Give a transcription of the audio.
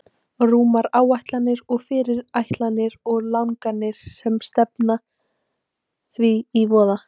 Rúmar áætlanir og fyrirætlanir og langanir sem stefna því í voða.